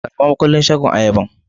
Karba makulin shagon Ayaban.